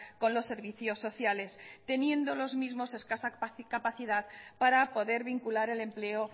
con los servicios sociales teniendo los mismos escasa capacidad para poder vincular el empleo